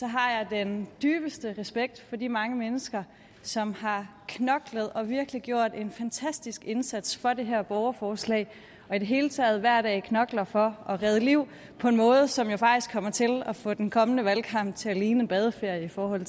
har jeg den dybeste respekt for de mange mennesker som har knoklet og virkelig gjort en fantastisk indsats for det her borgerforslag og i det hele taget hver dag knokler for at redde liv på en måde som jo faktisk kommer til at få den kommende valgkamp til at ligne en badeferie for det